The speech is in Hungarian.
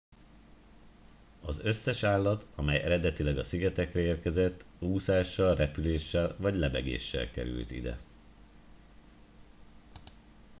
az összes állat amely eredetileg a szigetekre érkezett úszással repüléssel vagy lebegéssel került ide